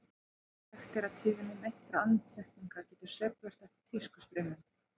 Þekkt er að tíðni meintra andsetninga getur sveiflast eftir tískustraumum.